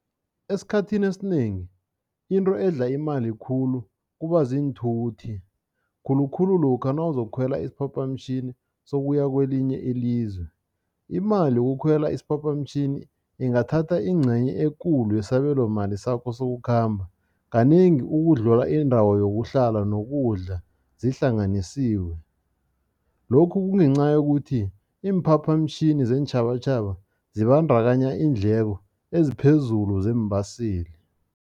Esikhathini esinengi into edla imali khulu kuba ziinthuthi, khulukhulu lokha nawuzokukhwela isiphaphamtjhini sokuya kwelinye ilizwe. Imali yokukhwela isiphaphamtjhini ingathatha ingcenye ekulu yesabelomali sakho sokukhamba, kanengi ukudlula indawo yokuhlala nokudla zihlanganisiwe. Lokhu kungenca yokuthi iimphaphamtjhini zeentjhabatjhaba zibandakanya iindleko eziphezulu zeembaseli.